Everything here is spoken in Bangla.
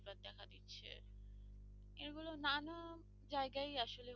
জায়গায় আসলে